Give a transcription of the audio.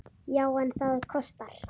Já, en það kostar!